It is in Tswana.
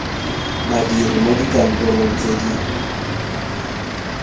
badiri mo dikantorong tse di